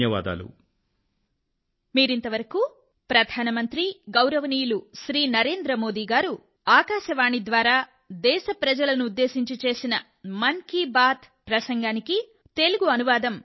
ధన్యవాదాలు తెలియజేస్తున్నాను